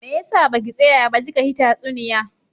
Me yasa baki tsaya ba kika hi tatsuniya?